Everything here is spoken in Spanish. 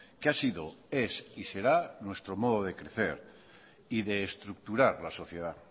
que ha sido es y será nuestro modo de crecer y de estructurar la sociedad